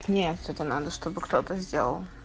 не все это надо чтобы кто-то сделал